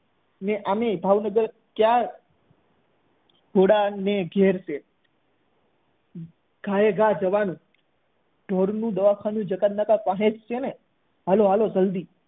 અને આમ પણ અમે ભાવનગર ક્યાં ઘોડા ને ઘેર છે ઘા એ ઘા જવાનુ ઢોર નું દવાખાનું જકાતનાકે જ છે ચલો ચલો જલ્દી